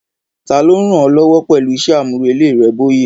Ta ló ń ràn ọ́ lọ́wọ́ pẹ̀lú iṣẹ́ àmúrelé rẹ, Bóyè?